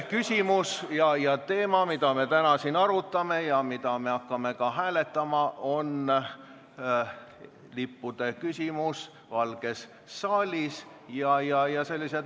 Küsimus, mida me täna siin arutame ja mida me hakkame ka hääletama, on lipud Valges saalis.